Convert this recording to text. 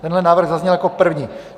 Tenhle návrh zazněl jako první.